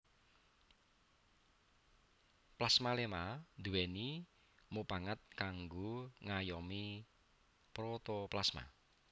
Plasmaléma nduwèni mupangat kanggo ngayomi protoplasma